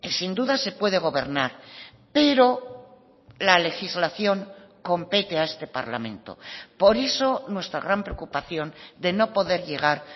sin duda se puede gobernar pero la legislación compete a este parlamento por eso nuestra gran preocupación de no poder llegar